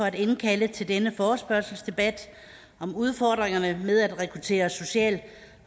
at indkalde til denne forespørgselsdebat om udfordringerne med at rekruttere social